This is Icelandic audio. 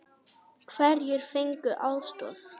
Hverjir fengu aðstoð?